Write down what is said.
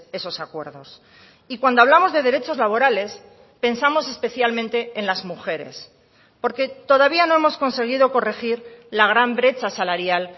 esos acuerdos y cuando hablamos de derechos laborales pensamos especialmente en las mujeres porque todavía no hemos conseguido corregir la gran brecha salarial